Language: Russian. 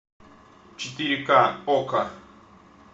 четыре ка окко